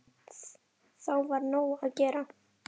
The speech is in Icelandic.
Þá var nóg að gera.